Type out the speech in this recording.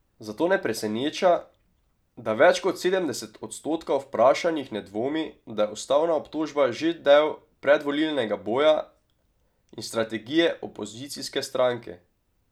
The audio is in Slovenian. Zato ne preseneča, da več kot sedemdeset odstotkov vprašanih ne dvomi, da je ustavna obtožba že del predvolilnega boja in strategije opozicijske stranke.